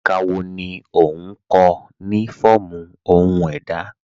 Ẹ̀ká wọ́ ní o nkọ̀ ni fọọmu ọhun èdá?